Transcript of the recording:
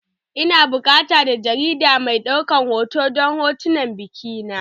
Ina buƙatan dan jarida mai ɗaukar hoto don hotunan bikina.